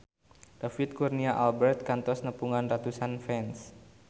David Kurnia Albert kantos nepungan ratusan fans